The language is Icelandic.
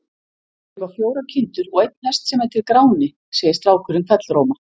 Ég á fjórar kindur og einn hest sem heitir Gráni, segir strákurinn hvellróma.